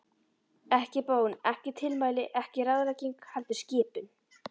Ekki bón, ekki tilmæli, ekki ráðlegging, heldur skipun.